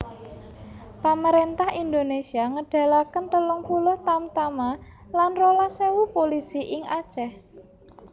Pamaréntah Indonésia ngedalaken telung puluh tamtama lan rolas ewu pulisi ing Aceh